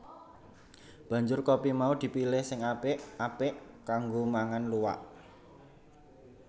Banjur kopi mau dipilihi sing apik apik kanggo mangan luwak